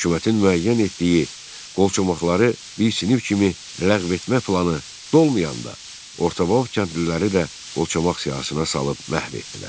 Hökumətin müəyyən etdiyi qolçomaqları bir sinif kimi ləğv etmə planı dolmayanda, Orta Bolşeviklər kəndliləri də qolçomaq siyahısına salıb məhv etdilər.